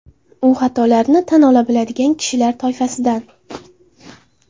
U xatolarini tan ola biladigan kishilar toifasidan.